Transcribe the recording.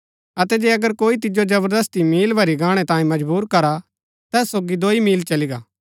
अतै जे अगर कोई तिजो जवरदस्ती मील भरी गाणै तांयें मजबुर करा ता तैस सोगी दोई मील चली गा